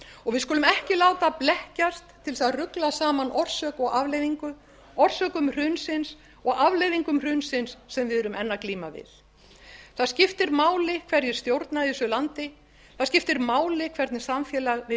og við skulum ekki láta blekkjast til þess að rugla saman orsök og afleiðingu orsökum hrunsins og afleiðingum hrunsins sem við erum enn að glíma við það skiptir máli hverjir stjórna í þessu ansi það skiptir máli hvernig samfélag við